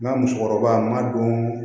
N ka musokɔrɔba ma don